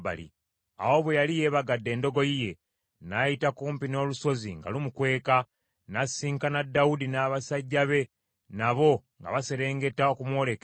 Awo bwe yali yeebagadde endogoyi ye, n’ayita kumpi n’olusozi nga lumukweka. N’asisinkana Dawudi n’abasajja be nabo nga baserengeta okumwolekera.